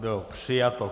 Bylo přijato.